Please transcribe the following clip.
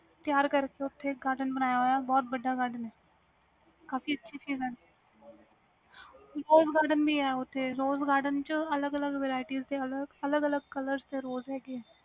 ਤਿਆਰ ਕਰਕੇ garden ਬਣਿਆ ਹੋਇਆ ਵੀ ਬਹੁਤ ਵੱਡਾ garden ਆ ਕਾਫੀ ਅੱਛੀ ਚੀਜ਼ ਏ rose garden ਵੀ ਹੈ ਓਥੇ rose garden ਚ ਅਲਗ ਅਲਗ colours ਦੇ rose ਹੈ ਗੇ ਵ